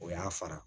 O y'a fara